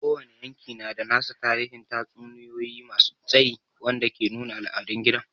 Kowane yanki yana da nasa tarihin tatsuniyoyi masu tsayi wanda ke nuna al'adun gida.